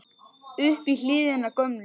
upp í hlíðina gömlu